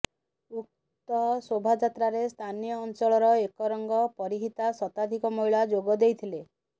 ଉକ୍ତ ଶୋଭାଯାତ୍ରାରେ ସ୍ଥାନୀୟ ଅଂଚଳର ଏକରଙ୍ଗ ପରିହିତା ଶତାଧିକ ମହିଳା ଯୋଗ ଦେଇଥିଲେ